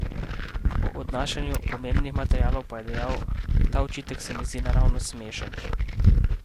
O odnašanju pomembnih materialov pa je dejal: "Ta očitek se mi zdi naravnost smešen.